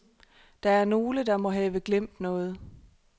Der er nogle, der må have glemt noget.